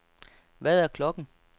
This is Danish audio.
Hvad er klokken